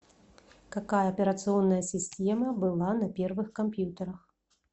какая операционная система была на первых компьютерах